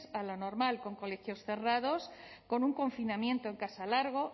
a lo normal con colegios cerrados con un confinamiento en casa largo